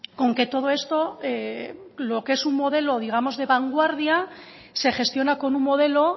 con que todo esto lo que es un modelo digamos de vanguardia se gestiona con un modelo